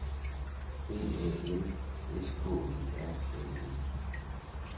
D A N S K E R N E